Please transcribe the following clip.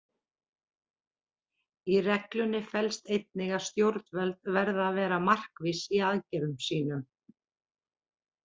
Í reglunni felst einnig að stjórnvöld verða að vera markviss í aðgerðum sínum.